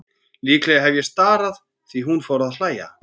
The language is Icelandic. Líklega hef ég starað því hún fór að hlæja.